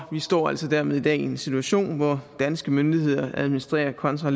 vi står altså dermed i dag i en situation hvor danske myndigheder administrerer contra